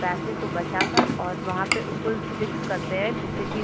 पैसे को बचा कर और वहाँ पे उसको फिक्स करते है जिससे कि --